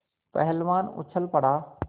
पहलवान उछल पड़ा